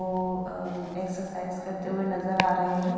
वो अ एक्सरसाइज करते हुए नजर आ रहे हैं।